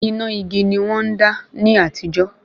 Iná igi ni wọ́n ń dá ní àtijó